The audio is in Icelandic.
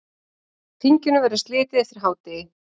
Þinginu verður slitið eftir hádegi.